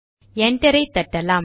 என்டரை தட்டலாம்